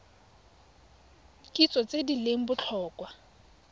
kitso tse di leng botlhokwa